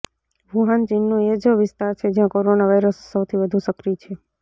Wuhan ચીનનો એ જ વિસ્તાર છે જ્યાં કોરોના વાયરસ સૌથી વધુ સક્રિય છે